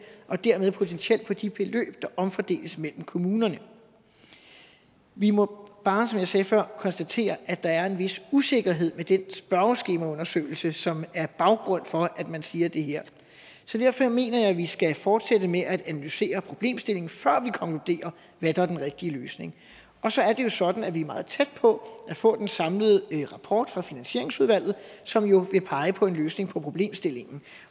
og dermed potentielt for de beløb der omfordeles mellem kommunerne vi må bare som jeg sagde før konstatere at der er en vis usikkerhed ved den spørgeskemaundersøgelse som er baggrunden for at man siger det her så derfor mener jeg at vi skal fortsætte med at analysere problemstillingen før vi konkluderer hvad der er den rigtige løsning og så er det jo sådan at vi er meget tæt på at få den samlede rapport fra finansieringsudvalget som jo vil pege på en løsning på problemstillingen